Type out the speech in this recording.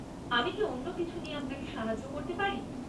আমি কি অন্য কিছু নিয়ে আপনাকে সাহায্য করতে পারি?